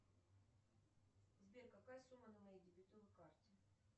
сбер какая сумма на моей дебетовой карте